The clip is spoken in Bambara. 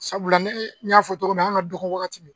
Sabula ne n y'a fɔ cogo min na an ka dɔgɔ wagati